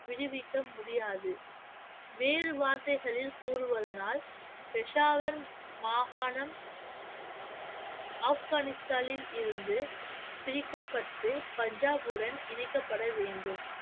விடுவிக்க முடியாது வேறு வார்த்தைகளில் கூறுவதனால் பெஷாவர் மாகாணம் ஆப்கானிஸ்தானில் இருந்து பிரிக்கப்பட்டு பஞ்சாபுடன் இணைக்கப்பட வேண்டும்